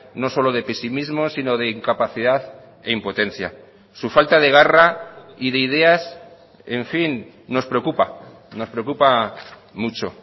no solo de pesimismo sino de incapacidad e impotencia su falta de garra y de ideas en fin nos preocupa nos preocupa mucho